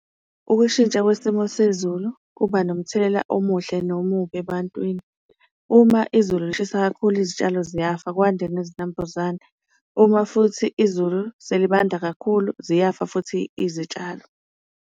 Ukushintsha kwesimo sezulu kuba nomthelela omuhle nomubi ebantwini. Uma izulu lishisa kakhulu izitshalo ziyafa kwande nezinambuzane, uma futhi izulu selibanda kakhulu ziyafa futhi izitshalo.